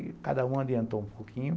Aí cada um adiantou um pouquinho.